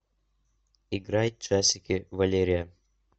играй часики валерия